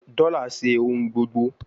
Dola ṣe ohun gbogbo